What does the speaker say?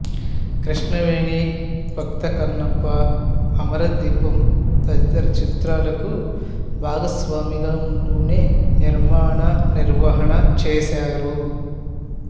కృష్ణవేణి భక్త కన్నప్ప అమర దీపం తదితర చిత్రాలకు భాగస్వామిగా ఉంటూనే నిర్మాణ నిర్వహణ చేశారు